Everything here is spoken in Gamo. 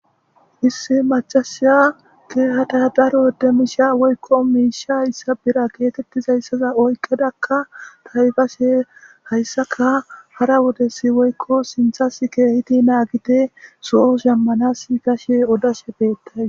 Issi macasiya keehada daro demisha woykko miisha yssa bira geetettizayssaza oykkedakka taybashe hayssaka hara wodesi woykko sinthas keehiti naagite soo shammanas gashe odashe beettay.